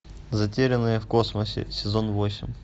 затерянные в космосе сезон восемь